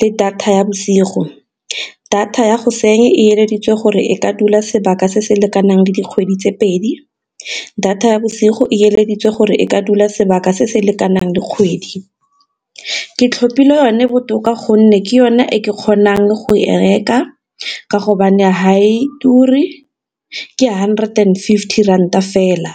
le data ya bosigo, data ya e gore e ka dula sebaka se se lekanang le dikgwedi tse pedi, data ya bosigo e gore e ka dula sebaka se se lekanang le kgwedi. Ke tlhopile yone botoka gonne ke yone e ke kgonang go e reka ka hobane ha e ture ke hundred and fifty ranta fela.